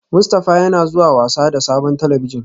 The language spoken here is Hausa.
Mustafa yana zuwa wasa da sabon talabijin